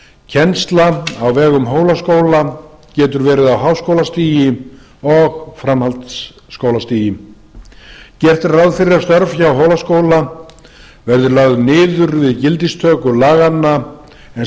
kennsla á vegum hólaskóla getur verið á háskólastigi og framhaldsskólastigi gert er ráð fyrir að störf hjá hólaskóla verði lögð niður við gildistöku laganna en